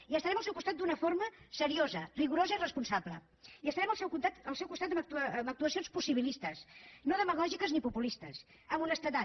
i estarem al seu costat d’una forma seriosa rigorosa i responsable i estarem al seu costat amb actuacions possibilistes no demagògiques ni populistes amb honestedat